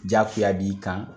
Jaakuya b'i kan